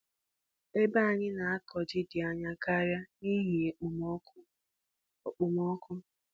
Ebe anyị na-akụ ji dị anya karịa n’ihi okpomọkụ. okpomọkụ.